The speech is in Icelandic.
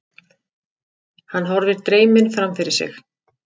Hann horfir dreyminn framfyrir sig.